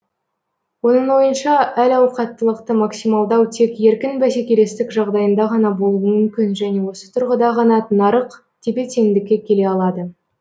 оның ойынша әл ауқаттылықты максималдау тек еркін бәсекелестік жағдайында ғана болуы мүмкін және осы тұрғыда ғана нарық тепе теңдікке келе алады